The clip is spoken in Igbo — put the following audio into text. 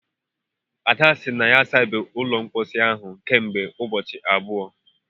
Ada sị na ya ọ sabeghị ụlọ mposi ahụ kemgbe ụbọchị abụọ